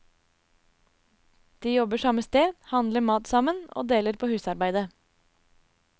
De jobber samme sted, handler mat sammen og deler på husarbeidet.